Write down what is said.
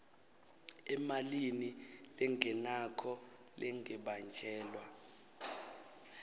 emalini lengenako lengabanjelwa